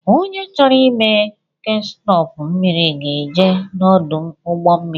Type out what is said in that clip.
Onye chọrọ ime ekspọọtu mmiri ga-eje n’ọdụ ụgbọ mmiri